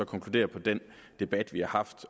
konkludere på den debat vi har haft